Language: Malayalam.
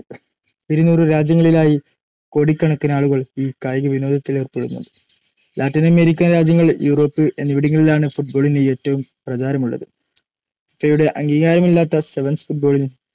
ഇരുനൂറു രാജ്യങ്ങളിലായി കോടിക്കണക്കിനാളുകൾ ഈ കായികവിനോദത്തിലേർപ്പെടുന്നുണ്ട്‌. ലാറ്റിനമേരിക്കൻ രാജ്യങ്ങൾ, യൂറോപ്പ്‌ എന്നിവിടങ്ങളിലാണ്‌ ഫുട്ബോളിന്‌ ഏറ്റവും പ്രചാരമുളളത്‌. ഫിഫയുടെ അംഗീകാരമില്ലാത്ത സെവൻസ്‌ ഫുട്‌ബോളിന്‌